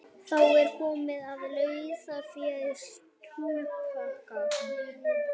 Þá er komið að laufléttum slúðurpakka.